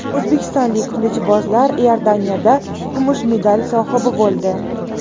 O‘zbekistonlik qilichbozlar Iordaniyada kumush medal sohibi bo‘ldi.